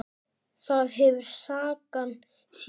Það hefur sagan sýnt.